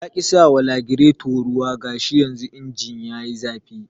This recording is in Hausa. Yaƙi sawa lagireto ruwa gashi yanzu injin yayi zafi